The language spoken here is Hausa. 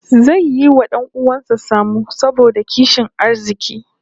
Zai yi wa 'dan uwan sa sammu saboda kishin arziki